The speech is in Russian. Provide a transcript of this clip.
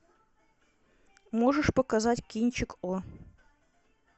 можешь показать кинчик о